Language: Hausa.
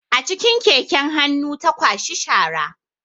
A cikin keken hannu ta kwashi shara